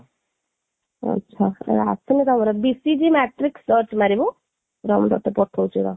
ଆଛା ଆସିନି ତମର, BGC matrix search ମାରିବୁ, ରହ ମୁଁ ତତେ ପଠଉଛି ରହ